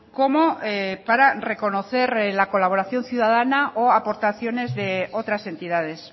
como para reconocer la colaboración ciudadana o aportaciones de otras entidades